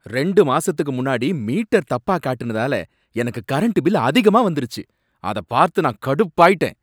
ரெண்டு மாசத்துக்கு முன்னாடி மீட்டர் தப்பா காட்டுனதால எனக்கு கரண்ட் பில் அதிகமா வந்திருச்சு, அத பார்த்து நான் கடுப்பாயிட்டேன்.